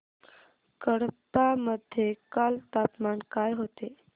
कडप्पा मध्ये काल तापमान काय होते